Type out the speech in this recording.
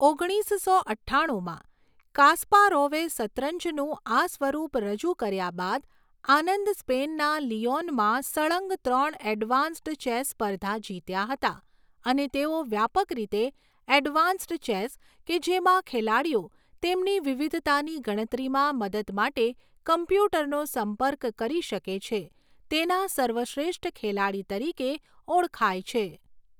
ઓગણીસસો અઠ્ઠાણુમાં કાસ્પારોવે શતરંજનું આ સ્વરૂપ રજૂ કર્યા બાદ, આનંદ સ્પેનના લિઓનમાં સળંગ ત્રણ એડવાન્સ્ડ ચેસ સ્પર્ધા જીત્યા હતા અને તેઓ વ્યાપક રીતે એડવાન્સ્ડ ચેસ કે જેમા ખેલાડીઓ તેમની વિવિધતાની ગણતરીમાં મદદ માટે કોમ્પ્યુટરનો સંપર્ક કરી શકે છે, તેના સર્વશ્રેષ્ઠ ખેલાડી તરીકે ઓળખાય છે.